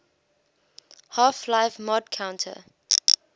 half life mod counter strike